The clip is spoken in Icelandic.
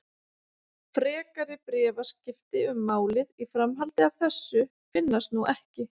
Frekari bréfaskipti um málið í framhaldi af þessu finnast nú ekki.